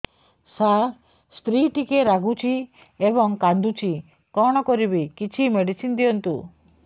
ସାର ସ୍ତ୍ରୀ ଟିକେ ରାଗୁଛି ଏବଂ କାନ୍ଦୁଛି କଣ କରିବି କିଛି ମେଡିସିନ ଦିଅନ୍ତୁ